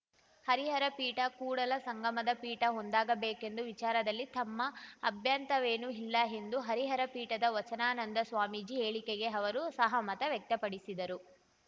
ಹರಿಹರ ಪೀಠ ಕೂಡಲ ಸಂಗಮದ ಪೀಠ ಒಂದಾಗಬೇಕೆಂಬ ವಿಚಾರದಲ್ಲಿ ತಮ್ಮ ಅಭ್ಯಂತರವೇನೂ ಇಲ್ಲ ಎಂದು ಹರಿಹರ ಪೀಠದ ವಚನಾನಂದ ಸ್ವಾಮೀಜಿ ಹೇಳಿಕೆಗೆ ಅವರು ಸಹಮತ ವ್ಯಕ್ತಪಡಿಸಿದರು